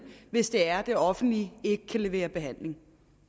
hvis det er det offentlige ikke kan levere behandling